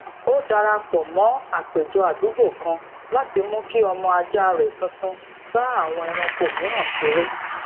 ó dara pò mó àpéjọ àdúgbò kan láti mu ki ọmọ aja rẹ tuntun bá àwọn ẹranko mìíràn ṣeré